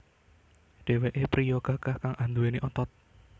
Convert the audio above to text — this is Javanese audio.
Dheweké priya gagah kang anduweni otot